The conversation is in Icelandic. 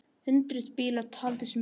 Hundruð bíla, taldist mér til!